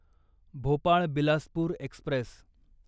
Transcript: Bhopal Bilaspur Express